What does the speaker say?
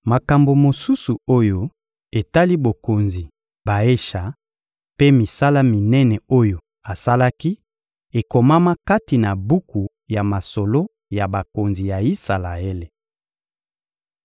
Makambo mosusu oyo etali mokonzi Baesha mpe misala minene oyo asalaki, ekomama kati na buku ya masolo ya bakonzi ya Isalaele.